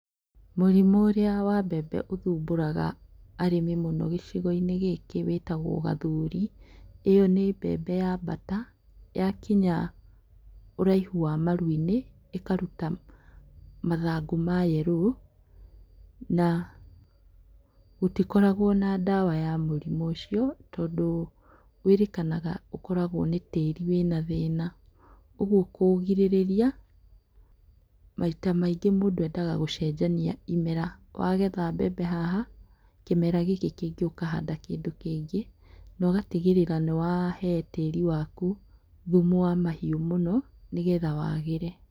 Mũrimũ ũrĩa wa mbembe ũthumbũraga arĩmi mũno gicigoinĩ gĩkĩ wĩtagwo gathuri, ĩyo nĩ mbembe yambata yakinya ũraihu wa maruinĩ ĩkaruta mathangũ ma yerũ na gũtikoragwo na ndawa ya mũrimũ ũcio tondũ wĩrĩkanaga atĩ nĩ tĩri wĩna thĩna, ũguo kũũgirĩrĩria maita maingĩ mũndũ endaga gũcenjania imera, wagetha mbembe haha kĩmera gĩkĩ kĩngĩ ũkahanda kĩndũ kĩngĩ na ũgatigĩrĩra nĩwahe tĩri waku thumu wa mahiũ mũno nĩgetha wagĩre.